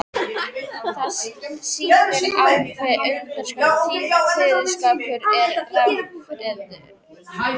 Það sýnir á hve undraskömmum tíma kveðskapur er rangfeðraður.